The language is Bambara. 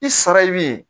I sara ye min ye